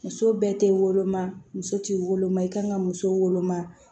Muso bɛɛ tɛ woloma muso tɛ woloma i kan ka muso woloma